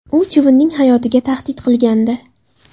U chivinning hayotiga tahdid qilgandi.